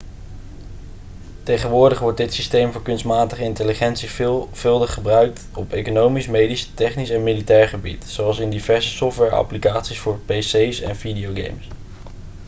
tegenwoordig wordt dit systeem voor kunstmatige intelligentie veelvuldig gebruikt op economisch medisch technisch en militair gebied zoals in diverse software-applicaties voor pc's en videogames